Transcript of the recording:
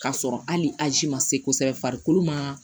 K'a sɔrɔ hali azi ma se kosɛbɛ farikolo ma